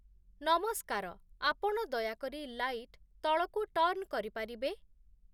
ନମସ୍କାର ଆପଣ ଦୟାକରି ଲାଇଟ୍ ତଳକୁ ଟର୍ନ୍ କରିପାରିବେ